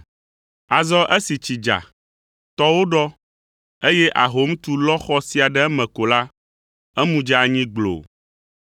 Azɔ esi tsi dza, tɔwo ɖɔ eye ahom tu, lɔ xɔ sia ɖe eme ko la, emu dze anyi gbloo.”